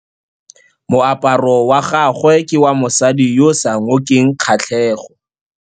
Moaparô wa gagwe ke wa mosadi yo o sa ngôkeng kgatlhegô.